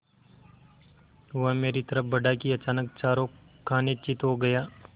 वह मेरी तरफ़ बढ़ा कि अचानक चारों खाने चित्त हो गया